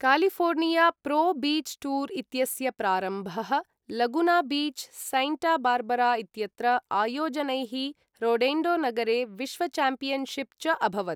California pro beach tour इत्यस्य प्रारम्भः Laguna beach, Santa Barbara इत्यत्र आयोजनैः, रोडेण्डोनगरे विश्वचाम्पियन्शिप् च अभवत्।